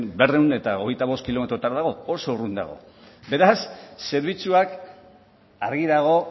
berrehun eta hogeita bost kilometrotara dago oso urrun dago beraz zerbitzuak argi dago